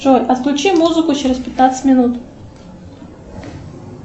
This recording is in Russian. джой отключи музыку через пятнадцать минут